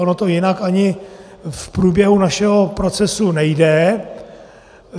Ono to jinak ani v průběhu našeho procesu nejde.